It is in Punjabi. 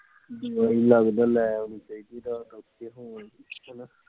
ਲੱਗਦਾ ਆ ਲੈ ਆਉਣੀ ਚਾਹੀਦੀ